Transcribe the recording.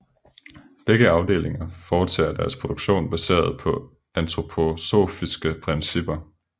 Begge afdelinger foretager deres produktion baseret på antroposofiske principper